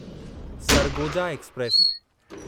Sargodha express